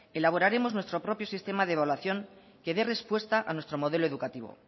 elaboraremos nuestro propio sistema de evaluación que dé respuesta a nuestro modelo educativo